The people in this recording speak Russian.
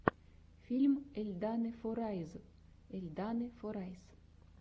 фильм эльданы форайз эльданы форайс